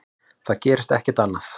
Það gerist ekkert annað.